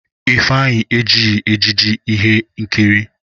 Ifeanyi ejighi ejiji ihe nkiri.